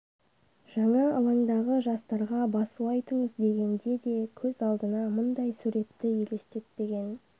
жаңа алаңдағы жастарға басу айтыңыз дегенде де көз алдына мұндай суретті елестетпеген